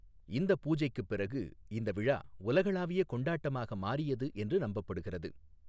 இந்த பூஜைக்குப் பிறகு, இந்த விழா உலகளாவிய கொண்டாட்டமாக மாறியது என்று நம்பப்படுகிறது.